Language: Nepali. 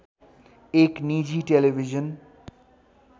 एक निजी टेलिभिजन